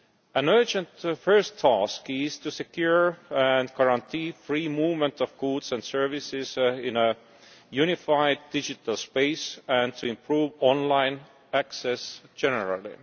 An urgent first task is to secure and guarantee free movement of goods and services in a unified digital space and to improve online access generally.